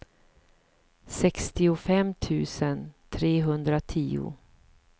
sextiofem tusen trehundratio